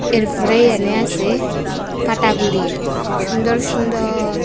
এরফরে এহানে আসে পাটাগুলি সুন্দর সুন্দর।